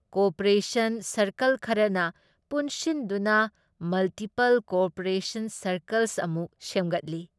Cooperation circle ꯈꯔꯅ ꯄꯨꯟꯁꯤꯟꯗꯨꯅ multiple cooperation circles ꯑꯃꯨꯛ ꯁꯦꯝꯒꯠꯂꯤ ꯫